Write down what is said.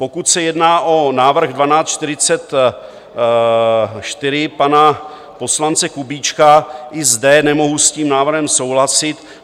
Pokud se jedná o návrh 1244 pana poslance Kubíčka, i zde nemohu s tím návrhem souhlasit.